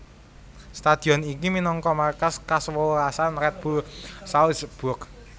Stadion iki minangka markas kasewelasan Red Bull Salzburg